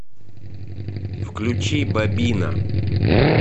включи бабина